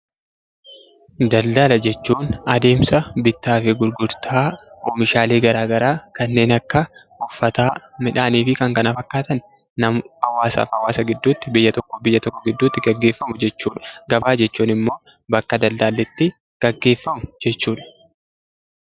Daldala jechuun adeemsa bittaa fi gurgurtaa oomishaalee garaa garaa kanneen akka uffataa, midhaanii fi kan kana fakkaatan hawaasaa fi hawaasa gidduutti, biyya tokkoo fi biyya tokko gidduutti gaggeeffamu jechuudha. Gabaa jechuun immoo bakka daldalli itti gaggeeffamu jechuudha.